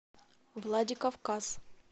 владикавказ